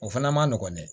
O fana ma nɔgɔn dɛ